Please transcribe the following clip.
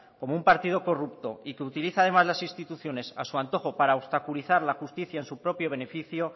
como un partido corrupto y que utiliza además las instituciones a su antojo para obstaculizar la justicia en su propio beneficio